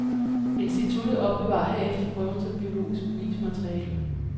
Instituttet opbevarer herefter prøven som biologisk bevismateriale.